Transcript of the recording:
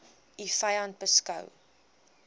u vyand beskou